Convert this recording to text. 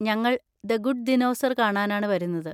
ഞങ്ങൾ the good dinosaur കാണാനാണ് വരുന്നത്.